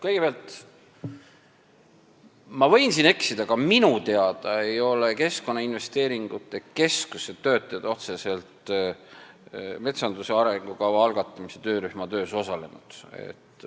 Kõigepealt, ma võin siin eksida, aga minu teada ei ole Keskkonnainvesteeringute Keskuse töötajad otseselt metsanduse arengukava algatamise töörühma töös osalenud.